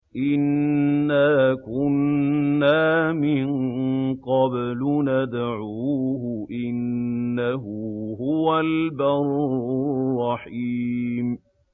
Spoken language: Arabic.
إِنَّا كُنَّا مِن قَبْلُ نَدْعُوهُ ۖ إِنَّهُ هُوَ الْبَرُّ الرَّحِيمُ